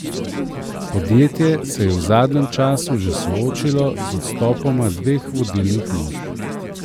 Podjetje se je v zadnjem času že soočilo z odstopoma dveh vodilnih mož.